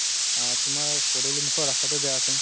আ তুমাৰ পদুলি মুখৰ ৰাস্তাতো বেয়া আছে